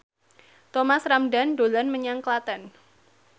Thomas Ramdhan dolan menyang Klaten